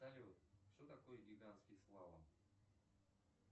салют что такое гигантский слалом